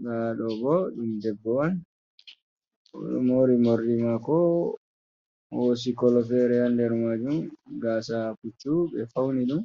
Ngado bo ɗum debbo on wan mori mordi mako hosi kolo fere yan der majun gasa puccu be fauni ɗum